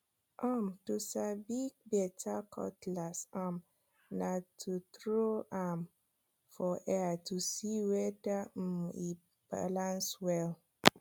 um to sabi beta cutlass um na to tro am for air to see weda um e balans well